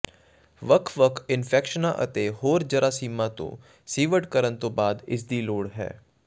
ਵੱਖ ਵੱਖ ਇਨਫੈਕਸ਼ਨਾਂ ਅਤੇ ਹੋਰ ਜਰਾਸੀਮਾਂ ਤੋਂ ਸੀਵਡ ਕਰਨ ਤੋਂ ਬਾਅਦ ਇਸ ਦੀ ਲੋੜ ਹੈ